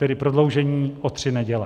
Tedy prodloužení o tři neděle.